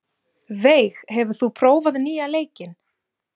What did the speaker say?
Veig, hefur þú prófað nýja leikinn?